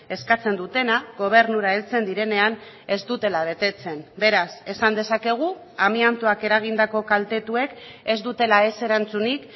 eskatzen dutena gobernura heltzen direnean ez dutela betetzen beraz esan dezakegu amiantoak eragindako kaltetuek ez dutela ez erantzunik